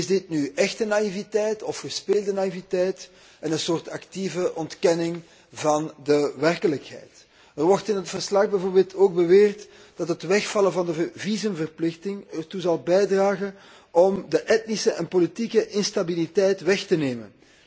Is dit nu echte of gespeelde naïviteit en een soort actieve ontkenning van de werkelijkheid? Er wordt in het verslag bijvoorbeeld ook beweerd dat het wegvallen van de visumverplichting ertoe zal bijdragen de etnische en politieke instabiliteit weg te nemen.